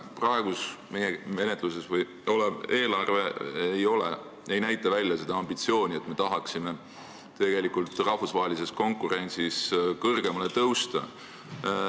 Praegu menetluses olev eelarve ei peegelda ambitsiooni, et me tahaksime rahvusvahelises konkurentsis kõrgemale kohale tõusta.